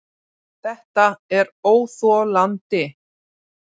ÞETTA ER ÓÞOLANDI!